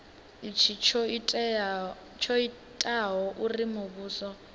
itshi tsho itaho uri muvhuso